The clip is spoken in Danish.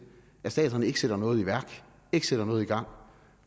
at staterne sætter noget i værk sætter noget i gang